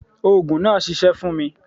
Òògùn náà ṣiṣẹ́ fún mi.